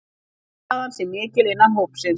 Samstaðan sé mikil innan hópsins